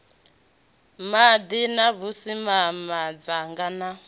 maḓi na vhusimama ḓaka na